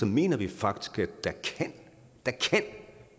mener vi faktisk at det